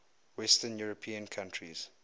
western european countries